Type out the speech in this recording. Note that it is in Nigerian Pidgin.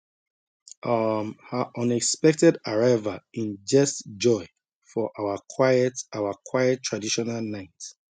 um her unexpected arrival inject joy for our quiet our quiet traditional night